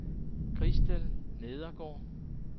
Christel Nedergaard